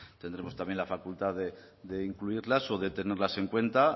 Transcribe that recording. tendremos también la facultad de incluirlas o de tenerlas en cuenta